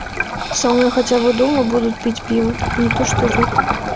со мной хотя бы дома будут пить пиво не то что вы